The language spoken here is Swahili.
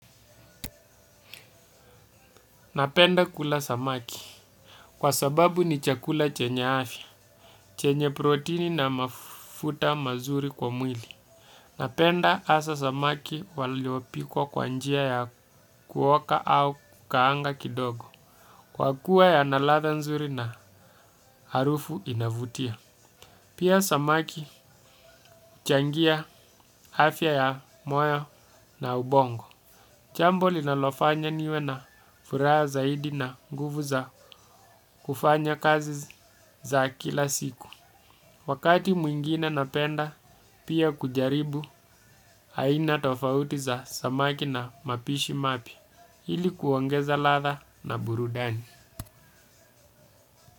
Napenda kula samaki kwa sababu ni chakula chenye afya, chenye protini na mafuta mazuri kwa mwili. Napenda hasa samaki waliopikwa kwa njia ya kuoka au kaanga kidogo. Kwa kuwa yana ladha nzuri na harufu inavutia. Pia samaki changia afya ya moyo na ubongo. Jambo linalofanya niwe na furaha zaidi na nguvu za kufanya kazi za kila siku wakati mwingine napenda pia kujaribu aina tofauti za zamaki na mapishi mapya, ili kuongeza ladha na burudani.